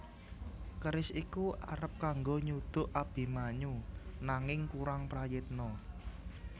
Keris iku arep kanggo nyuduk Abimanyu nanging kurang prayitna